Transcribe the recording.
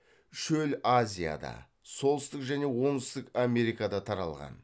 шөл азияда солтүстік және оңтүстік америкада таралған